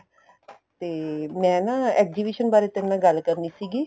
ਤੇ ਮੈਂ ਨਾ exhibition ਬਾਰੇ ਤੇਰੇ ਨਾਲ ਗੱਲ ਕਰਨੀ ਸੀਗੀ